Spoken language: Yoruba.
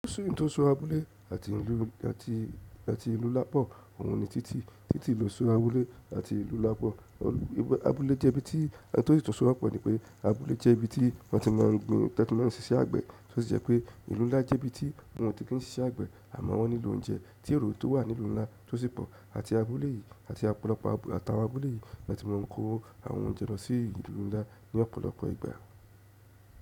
So ohun tó so abúlé àti ìlú lápọ̀ òun ni títí, títí lò so abúlé àti ìlú nlá pọ̀. Abúlé jẹ́ ibi tí ẹni tó sì tọ́ ọ pọ̀ ni pé abúlé jẹ́ ibi tí wọ́n ti má ń gbin, títí wọ́n ń ṣíṣe àgbẹ̀, tí ó sì jẹ́ pé ìlú ńlá jẹ́ ibi tí wọn ò tí kì ṣiṣẹ́ àgbẹ̀ àmọ́ wọ́n nílò oúnjẹ tí èrò tó wà nílùú ńlá tó sì pọ̀ àti abúlé yìí àti ọ̀pọ̀lọpọ̀ àwọn abúlé yìí ni wọ́n ti máa ń kó àwọn oúnjẹ lọ sí ìlú ńlá ní ọ̀pọ̀lọpọ̀ ìgbà.